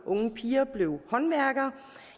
unge piger blev håndværkere